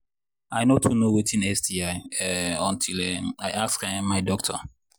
i no too know watin sti um until um i ask um my doctor